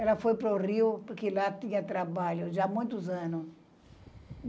Ela foi para o Rio porque lá tinha trabalho já há muitos anos.